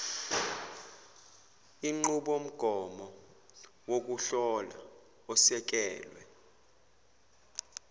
inqubomgomo wokuhlola osekelwe